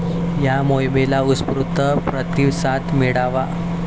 या मोहिमेला उत्स्फूर्त प्रतिसाद मिळाला.